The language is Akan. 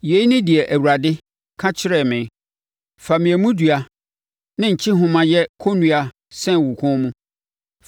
Yei ne deɛ Awurade ka kyerɛɛ me: “Fa mmeamudua ne nkyehoma yɛ kɔnnua sɛn wo kɔn mu.